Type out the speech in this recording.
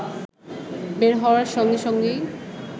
বের হওয়ার সঙ্গে সঙ্গেই